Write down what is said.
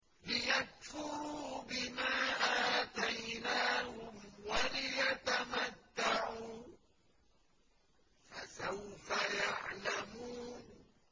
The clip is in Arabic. لِيَكْفُرُوا بِمَا آتَيْنَاهُمْ وَلِيَتَمَتَّعُوا ۖ فَسَوْفَ يَعْلَمُونَ